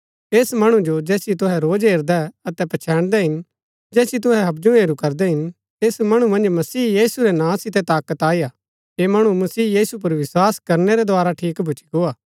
ऐस मणु जो जैसिओ तुहै रोज हेरदै अतै पछैन्दै हिन जैसिओ तुहै हबजु हेरू करदै हिन ऐस मणु मन्ज मसीह यीशु रै नां सितै ताकत आई हा ऐह मणु मसीह यीशु पुर विस्वास करनै रै द्धारा ठीक भूच्ची गो हा